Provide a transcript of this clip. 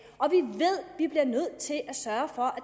vi bliver nødt til at sørge for at